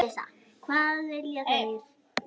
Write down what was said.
Um svipað efni